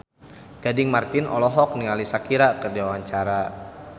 Gading Marten olohok ningali Shakira keur diwawancara